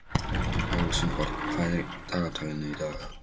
Rósenberg, hvað er í dagatalinu í dag?